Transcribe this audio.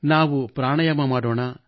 ನಾವು ಪ್ರಾಣಾಯಾಮ ಮಾಡೋಣ